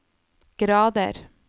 grader